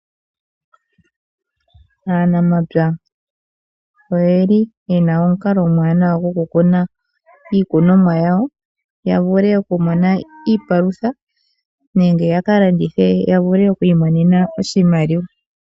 Aanamapya oyeli yena omukalo omwaanawa gwokukuna iikunomwa yawo ya vule oku mona iipalutha nenge yakalandithe ya vule okwiimonena oshimaliwa.